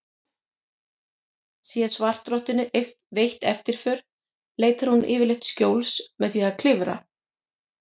Sé svartrottunni veitt eftirför leitar hún yfirleitt skjóls með því að klifra.